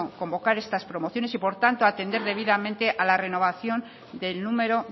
convocar estas promociones y por tanto atender debidamente a la renovación del número